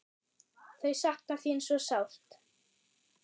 Þau sakna þín svo sárt.